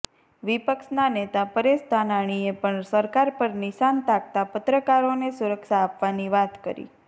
વિપક્ષના નેતા પરેશ ધાનાણીએ પણ સરકાર પર નિશાન તાકતાં પત્રકારોને સુરક્ષા આપવાની વાત કરી